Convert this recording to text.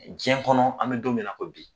Diɲɛ kɔnɔ an bɛ don min na ko bi